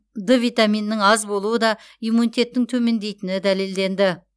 д витаминінің аз болуы да иммунитеттің төмендейтіні дәлелденді